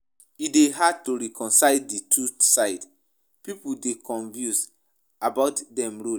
E dey hard to reconcile di two sides; pipo dey confused about dem role.